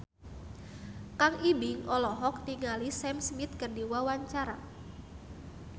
Kang Ibing olohok ningali Sam Smith keur diwawancara